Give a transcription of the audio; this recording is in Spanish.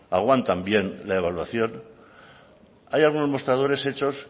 aguantan bien la evaluación hay algunos mostradores hechos